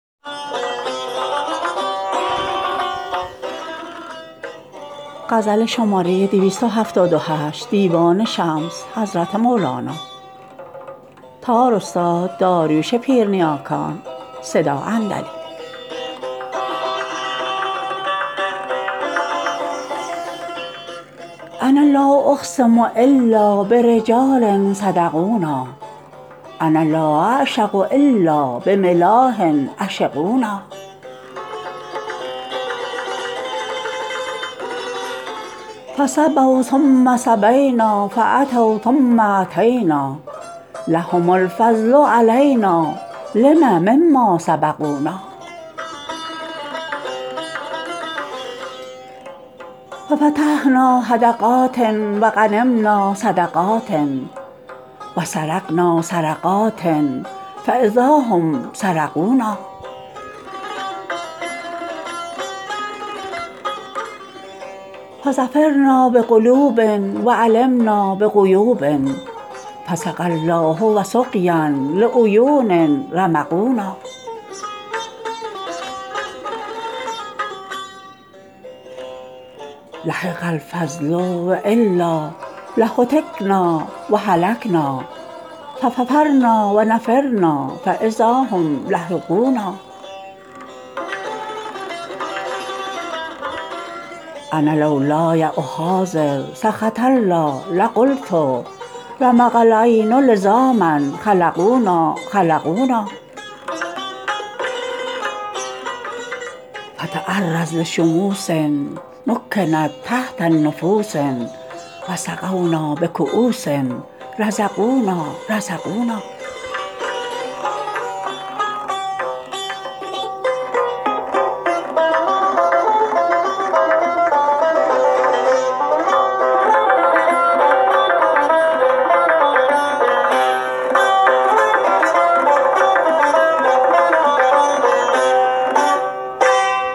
انا لا اقسم الا برجال صدقونا انا لا اعشق الا بملاح عشقونا فصبوا ثم صبینا فاتوا ثم اتینا لهم الفضل علینا لم مما سبقونا ففتحنا حدقات و غنمنا صدقات و سرقنا سرقات فاذا هم سرقونا فظفرنا بقلوب و علمنا بغیوب فسقی الله و سقیا لعیون رمقونا لحق الفضل و الا لهتکنا و هلکنا ففررنا و نفرنا فاذا هم لحقونا انا لولای احاذر سخط الله لقلت رمق العین لزاما خلقونا خلقونا فتعرض لشموس مکنت تحت نفوس و سقونا بکؤوس رزقونا رزقونا